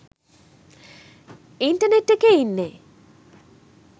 Internet එකේ ඉන්නේ.